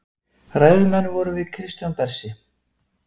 Ræðumenn vorum við Kristján Bersi